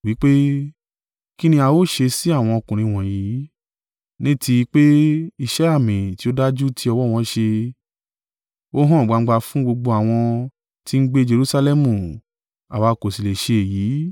Wí pé, “Kí ni a ó ṣe sí àwọn ọkùnrin wọ̀nyí? Ní ti pé iṣẹ́ àmì tí ó dájú tí ọwọ́ wọn ṣe, ó hàn gbangba fún gbogbo àwọn tí ń gbé Jerusalẹmu; àwa kò sì lè sẹ́ èyí.